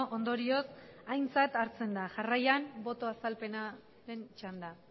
ondorioz aintzat hartzen da jarraian boto azalpenaren txanda